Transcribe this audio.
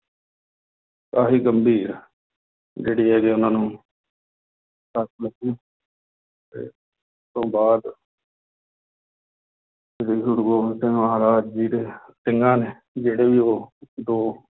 ਕਾਫ਼ੀ ਗੰਭੀਰ ਜਿਹੜੀ ਹੈਗੀ ਉਹਨਾਂ ਨੂੰ ਸੱਟ ਲੱਗੀ ਤੇ ਤੋਂ ਬਾਅਦ ਸ੍ਰੀ ਗੁਰੂ ਗੋਬਿੰਦ ਸਿੰਘ ਮਹਾਰਾਜ ਜੀ ਦੇ ਸਿੰਘਾਂ ਨੇ ਜਿਹੜੇ ਵੀ ਉਹ ਦੋ